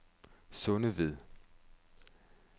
Sundeved